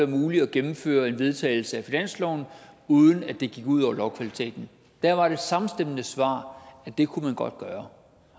muligt at gennemføre en vedtagelse af finansloven uden at det gik ud over lovkvaliteten der var det samstemmende svar at det godt gøre